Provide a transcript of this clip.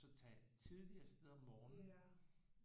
Så tage tidligt afsted om morgenen